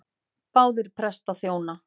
Báðir prestar þjóna.